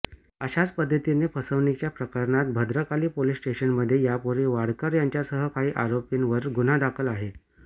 अशाच पद्धतीने फसवणूकीच्या प्रकारात भद्रकाली पोलीस स्टेशनमध्ये यापूर्वी वाडकर यांच्यासह काही आरोपींवर गुन्हा दाखल आहे